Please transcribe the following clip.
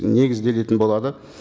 негізделетін болады